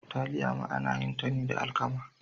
Taliya ma ana yin ta ne da alkama.